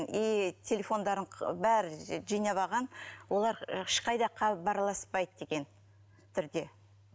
и телефондарын бәрін жинап алған олар ешқайда хабараласпайды деген түрде